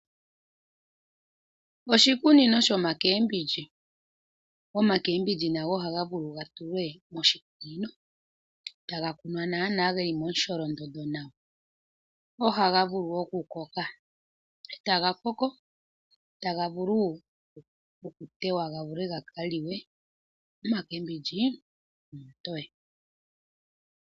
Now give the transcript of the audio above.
Oshikunino shomakembindji, omakembindji nago ohaga vulu ga tulwe moshikunino taga kunwa geli momusholondondo nawa ohaga vulu wo okukoka etaga vulu okutewa ga vule gaka liwe. Omakembindji omatoye.